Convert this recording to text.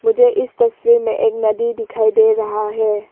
मुझे इस तस्वीर में एक नदी दिखाई दे रहा है।